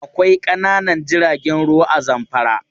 Akwai ƙananan jiragen ruwa a Zamfara.